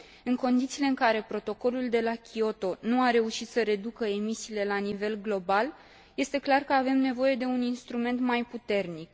În condițiile în care Protocolul de la Kyoto nu a reușit să reducă emisiile la nivel global, este clar că avem nevoie de un instrument mai puternic.